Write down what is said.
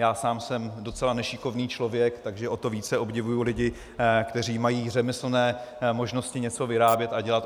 Já sám jsem docela nešikovný člověk, takže o to více obdivuji lidi, kteří mají řemeslné možnosti něco vyrábět a dělat.